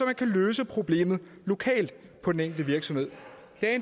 kan løse problemerne lokalt på den enkelte virksomhed